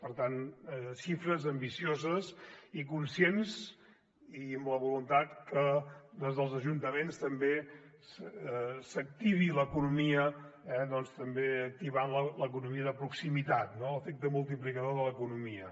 per tant xifres ambicioses i conscients i amb la voluntat que des dels ajuntaments també s’activi l’economia activant l’economia de proximitat no l’efecte multiplicador de l’economia